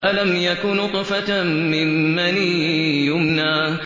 أَلَمْ يَكُ نُطْفَةً مِّن مَّنِيٍّ يُمْنَىٰ